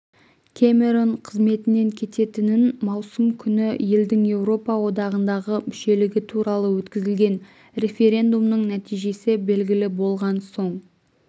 кэмерон қызметінен кететінін маусым күні елдің еуропа одағындағы мүшелігі туралы өткізілген референдумның нәтижесі белгілі болған соң